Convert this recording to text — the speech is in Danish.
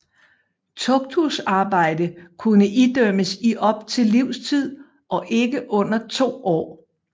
Tugthusarbejde kunne idømmes i op til livstid og ikke under 2 år